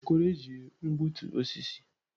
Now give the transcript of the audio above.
Okoro ejighi gbutu osisi.